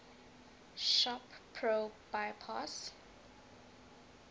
shop pro bypass